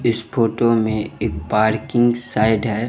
इस photo में एक parking side है।